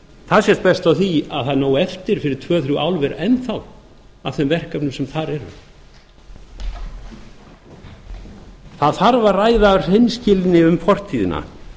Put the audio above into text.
það sést best á því að það er nóg eftir fyrir tvö þrjú álver enn af þeim verkefnum sem þar eru það þarf að ræða af hreinskilni um fortíðina